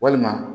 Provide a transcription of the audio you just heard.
Walima